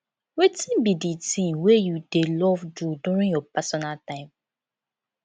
wetin be di thing wey you dey love do during your personal time